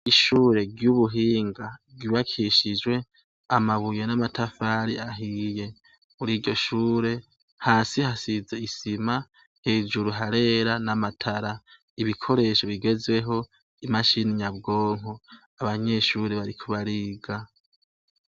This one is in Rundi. Ishure ry'ubuhinga ribakishijwe amabuye n'amatafari ahiye ,mur'iryo shure hasi hasize isima, hejuru harera, n'amatara ibikoresho bigezweho, n'imashini nyabwonko ,abanyeshure bariko bariga.